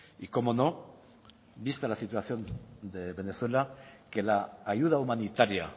y cómo no vista la situación de venezuela que la ayuda humanitaria